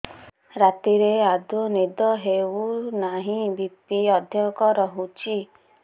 ରାତିରେ ଆଦୌ ନିଦ ହେଉ ନାହିଁ ବି.ପି ଅଧିକ ରହୁଛି